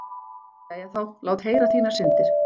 Jæja þá, lát heyra þínar syndir.